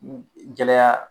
Gɛlɛya